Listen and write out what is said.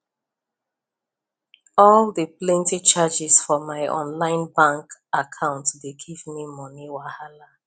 all the plenty charges for my online bank account dey give me money wahala